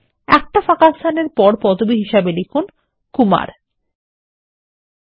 একটাস্পেস এরপর পদবি হিসাবে কুমার লিখুন